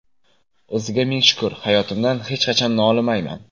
O‘ziga ming shukr, hayotimdan hech qachon nolimayman.